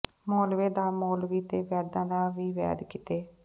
ਮੌਲਵੀ ਦਾ ਮੌਲਵੀ ਤੇ ਵੈਦਾਂ ਦਾ ਵੀ ਵੈਦ ਕਿਤੇ